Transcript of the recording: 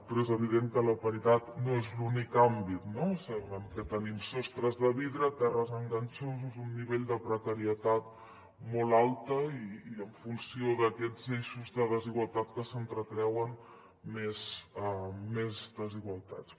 però és evident que la paritat no és l’únic àmbit no en què tenim sostres de vidre terres enganxosos un nivell de precarietat molt alta i en funció d’aquests eixos de desigualtat que s’entrecreuen més desigualtats